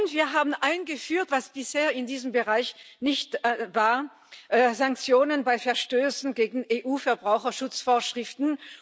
Und wir haben eingeführt, was bisher in diesem Bereich nicht war Sanktionen bei Verstößen gegen EU Verbraucherschutzvorschriften.